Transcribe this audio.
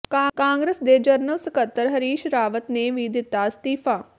ਕਾਂਗਰਸ ਦੇ ਜਨਰਲ ਸਕੱਤਰ ਹਰੀਸ਼ ਰਾਵਤ ਨੇ ਵੀ ਦਿੱਤਾ ਅਸਤੀਫਾ